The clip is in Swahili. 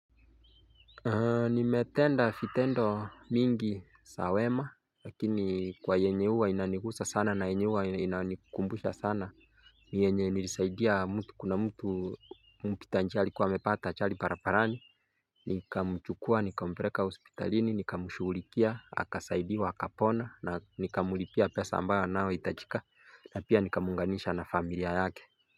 Nimetenda vitendo mingi za wema lakini kwa yenye uwa inanigusa sana na yenye huwa inanikumbusha sana ni yenye nilisaidia mtu kuna mtu mpita njia alikua amepata ajali barabarani Nikamchukua, nikampeleka hospitalini, nikamshughulikia, akasaidiwa, akapona na nikamlipia pesa ambayo anayoitajika na pia nikamuunganisha na familia yake.